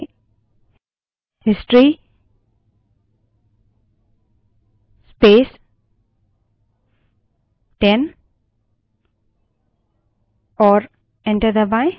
history space 10 type करें और enter दबायें